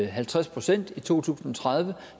halvtreds procent i to tusind og tredive